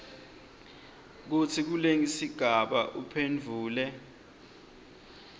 kutsi kulesigaba uphendvule